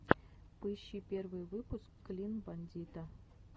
поищи первый выпуск клин бандита